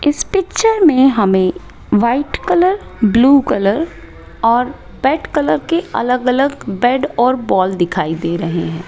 इस पिक्चर में हमें व्हाइट कलर ब्लू कलर और बेड कलर के अलग अलग बेड और बॉल दिखाई दे रहे हैं।